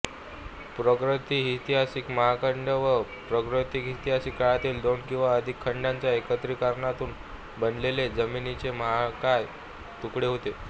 प्रागैतिहासिक महाखंड हे प्रागैतिहासिक काळातील दोन किंवा अधिक खंडांच्या एकत्रीकरणातून बनलेले जमीनीचे महाकाय तुकडे होते